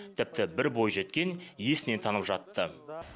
тіпті бір бойжеткен есінен танып жатты